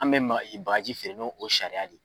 An me maga bagaji feere ni o sariya de ye